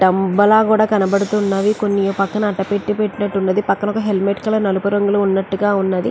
తంబలా కూడా కనబడుతూ ఉన్నవి. కొన్ని పక్కన అట్టపెట్టి పెట్టినట్టు ఉన్నది. పక్కన ఒక హెల్మెట్ కలర్ నలుపు రంగు లో ఉన్నట్టు ఉన్నది.